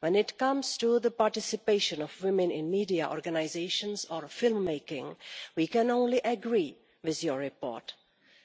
When it comes to the participation of women in media organisations or film making, we can only agree with your report.